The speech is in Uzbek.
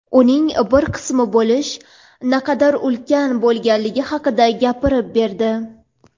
uning bir qismi bo‘lish naqadar ulkan bo‘lganligi haqida gapirib berdi.